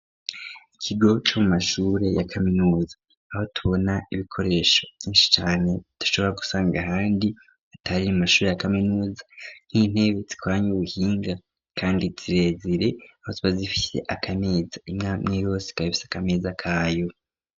Ikigo co mu mashure ya kaminuza, niho tubona ibikoresho vyinshi cane, bitari mu mashure ya kaminuza, nk'intebe zikoranye ubuhinga kandi zirezire, aho ziba zifise akameza ,imwe imwe yose ikaba ifise akameza kayo.